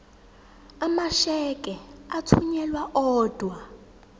amasheke athunyelwa odwa